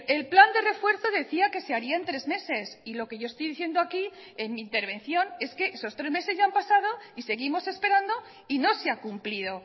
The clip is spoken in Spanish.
el plan de refuerzo decía que se haría en tres meses y lo que yo estoy diciendo aquí en mi intervención es que esos tres meses ya han pasado y seguimos esperando y no se ha cumplido